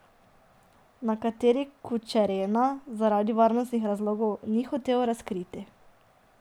Na kateri, Kučerena zaradi varnostnih razlogov ni hotel razkriti.